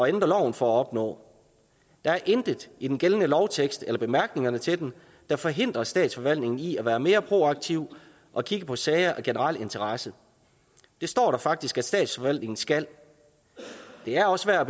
ændre loven for at opnå der er intet i den gældende lovtekst eller i bemærkningerne til den der forhindrer statsforvaltningen i at være mere proaktiv og kigge på sager af generel interesse det står der faktisk at statsforvaltningen skal det er også værd